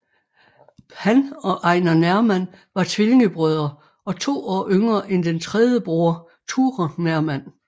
Han og Einar Nerman var tvillingebrødre og to år yngre end den tredje broder Ture Nerman